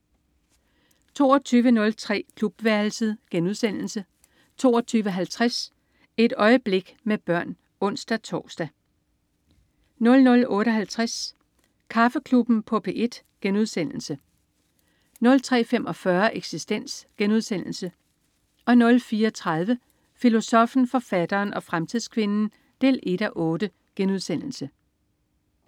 22.03 Klubværelset* 22.50 Et øjeblik med børn (ons-tors) 00.58 Kaffeklubben på P1* 03.45 Eksistens* 04.30 Filosoffen, forfatteren og fremtidskvinden 1:8*